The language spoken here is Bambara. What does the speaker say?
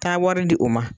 Taa wari di u ma